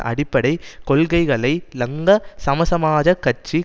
அடிப்படை கொள்கைகளை லங்க சமசமாஜக் கட்சி